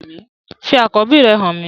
Fi akọbi rẹ han mi!